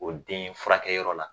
O denfurakɛyɔrɔ la